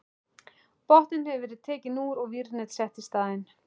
Botninn hefur verið tekinn úr og vírnet sett í staðinn.